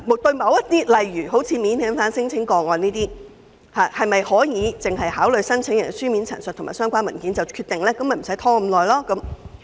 就某些案件如免遣返聲請個案，是否可以只考慮申請人的書面陳述及相關文件便作出決定，從而避免拖延呢？